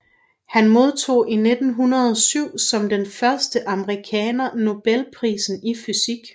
Han modtog i 1907 som den første amerikaner Nobelprisen i fysik